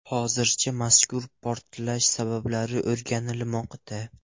Hozircha mazkur portlash sabablari o‘rganilmoqda.